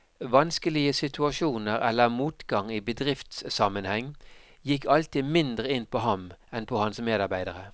Vanskelige situasjoner eller motgang i bedriftssammenheng gikk alltid mindre inn på ham enn på hans medarbeidere.